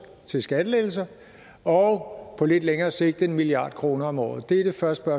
til skattelettelser og på lidt længere sigt en milliard kroner om året det er det første